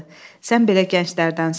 Sən belə gənclərdənsən.